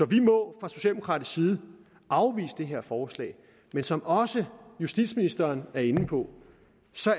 vi må fra socialdemokratisk side afvise det her forslag men som også justitsministeren er inde på